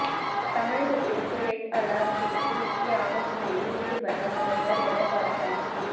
தமிழகத்திற்கு red alert குறித்து முக்கிய ஆலோசனையில் ஈடுபட்ட முதல்வர் எடப்பாடி பழனிச்சாமி